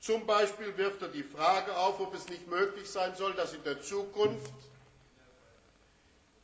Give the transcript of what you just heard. Zum Beispiel wirft er die Frage auf, ob es nicht möglich sein soll, dass